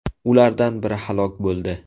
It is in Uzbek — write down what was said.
Ulardan biri halok bo‘ldi.